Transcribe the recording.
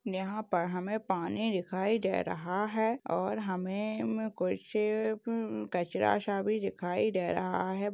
यहा पर हमें पानी दिखाई दे राहा है और हमें कुछ कचरा सा भी दिखाई दे राहा है|